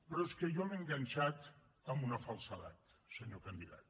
però és que jo l’he enganxat amb una falsedat senyor candidat